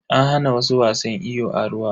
An hana su wasan iyo a ruwa.